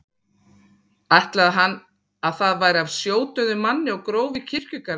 Ætlaði hann að það væri af sjódauðum manni og gróf í kirkjugarði.